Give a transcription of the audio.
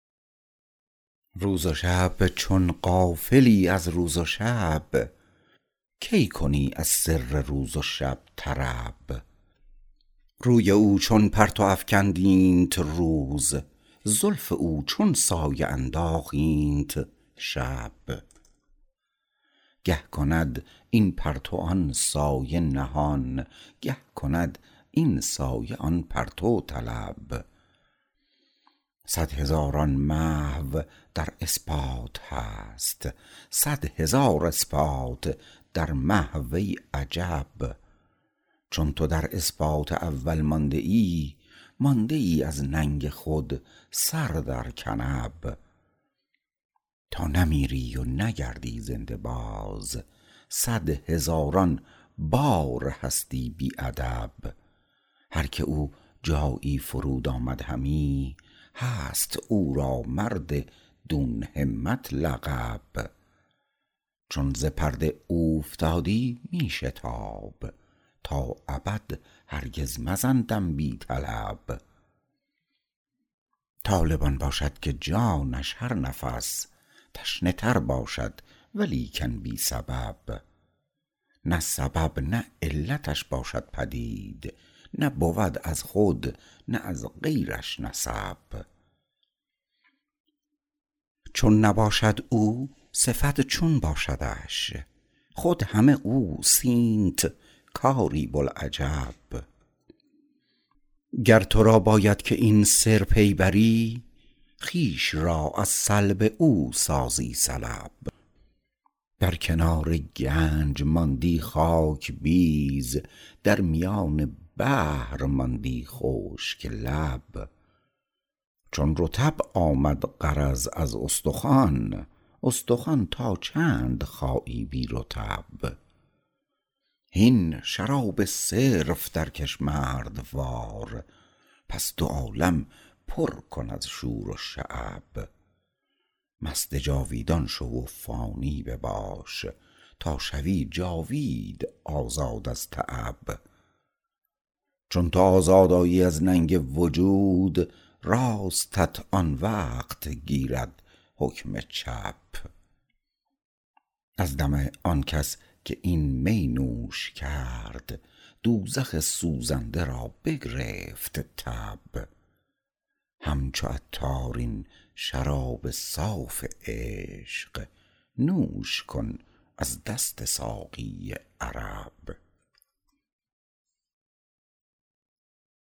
روز و شب چون غافلی از روز و شب کی کنی از سر روز و شب طرب روی او چون پرتو افکند اینت روز زلف او چون سایه انداخت اینت شب گه کند این پرتو آن سایه نهان گه کند این سایه آن پرتو طلب صد هزاران محو در اثبات هست صد هزار اثبات در محو ای عجب چون تو در اثبات اول مانده ای مانده ای از ننگ خود سر در کنب تا نمیری و نگردی زنده باز صد هزاران بار هستی بی ادب هر که او جایی فرود آمد همی هست او را مرددون همت لقب چون ز پرده اوفتادی می شتاب تا ابد هرگز مزن دم بی طلب طالب آن باشد که جانش هر نفس تشنه تر باشد ولیکن بی سبب نه سبب نه علتش باشد پدید نه بود از خود نه از غیرش نسب چون نباشد او صفت چون باشدش خود همه اوست اینت کاری بوالعجب گر تو را باید که این سر پی بری خویش را از سلب او سازی سلب بر کنار گنج ماندی خاک بیز در میان بحر ماندی خشک لب چون رطب آمد غرض از استخوان استخوان تا چند خایی بی رطب هین شراب صرف درکش مردوار پس دو عالم پر کن از شور و شعب مست جاویدان شو و فانی بباش تا شوی جاوید آزاد از تعب چون تو آزاد آیی از ننگ وجود راستت آن وقت گیرد حکم چپ از دم آن کس که این می نوش کرد دوزخ سوزنده را بگرفت تب همچو عطار این شراب صاف عشق نوش کن از دست ساقی عرب